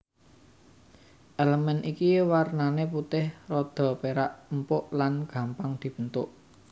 Elemen iki wernané putih rada perak empuk lan gampang dibentuk